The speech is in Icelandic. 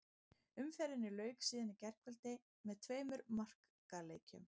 Umferðinni lauk síðan í gærkvöldi með tveimur markaleikjum.